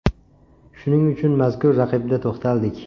Shuning uchun mazkur raqibda to‘xtaldik.